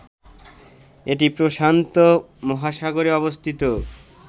এটি প্রশান্ত মহাসাগরে অবস্থিত